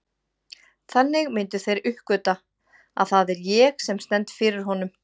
Þannig myndu þeir uppgötva, að það er ég sem stend fyrir honum.